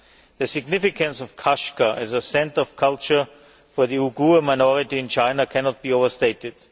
The significance of Kashgar as a centre of culture for the Uyghur minority in China cannot be overstated.